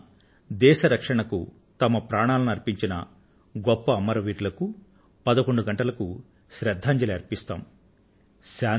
ఆ రోజున దేశ రక్షణకు తమ ప్రాణాలను అర్పించిన గొప్ప అమరవీరులకు పదకొండు గంటలకు శ్రద్ధాంజలిని అర్పిస్తాం